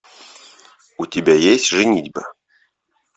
у тебя есть женитьба